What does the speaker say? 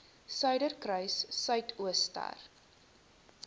suiderkruissuidooster